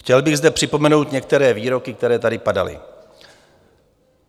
Chtěl bych zde připomenout některé výroky, které tady padaly.